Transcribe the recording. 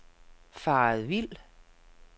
faret vild